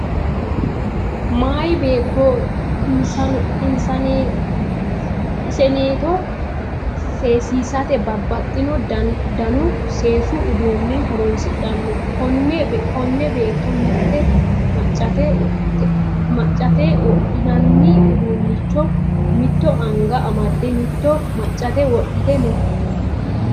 Meyaa beetto iseneeto seesisate babbaxino danu seesu uduunne horonsidhanno. Konne beetto mitte maccate wodhinanni uduunnicho mitto anga amadde mitto maccate wodhite no